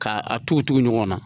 Ka a tugu tugu ɲɔgɔn na.